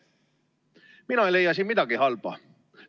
Mina ei leia siin midagi halba.